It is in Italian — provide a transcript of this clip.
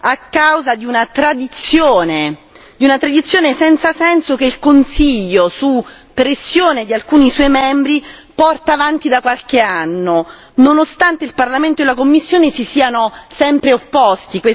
a causa di una tradizione, di una tradizione senza senso che il Consiglio, su pressione di alcuni suoi membri, porta avanti da qualche anno, nonostante il Parlamento e la Commissione si siano sempre opposti.